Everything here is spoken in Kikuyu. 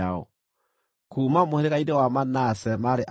Kuuma mũhĩrĩga-inĩ wa Manase maarĩ andũ 32,200.